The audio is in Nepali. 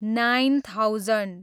nine thousand